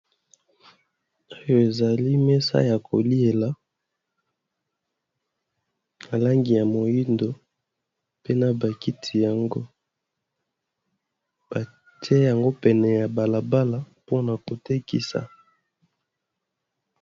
Oyo ezali mesa ya koliela nalangi ya moindo pena bakiti yango, bate yango pene ya balabala mpona kotekisa.